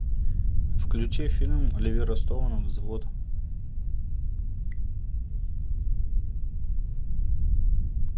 включи фильм оливера стоуна взвод